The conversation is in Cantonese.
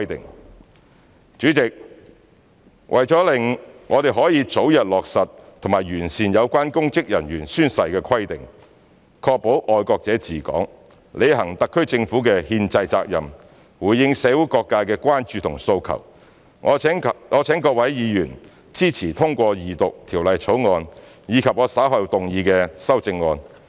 代理主席，為了讓我們可以早日落實及完善有關公職人員宣誓規定，確保"愛國者治港"，履行特區政府的憲制責任，回應社會各界的關注及訴求，我請各位議員支持通過二讀《條例草案》，以及我稍後動議的修正案。